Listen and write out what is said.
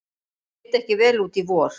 Leit ekki vel út í vor